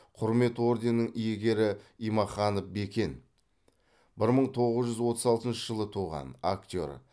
құрмет орденінің иегері имаханов бекен бір мың тоғыз жүз отыз алтыншы жылы туған актер